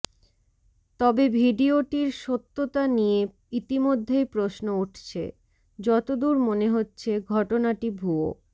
তবে ভিডিওটির সত্যতা নিয়ে ইতিমধ্যেই প্রশ্ন উঠছে যতদূর মনে হচ্ছে ঘটনাটি ভুয়ো